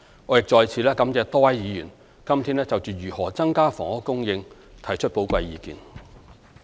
我亦再次感謝多位議員今天就如何增加房屋供應提出寶貴意見。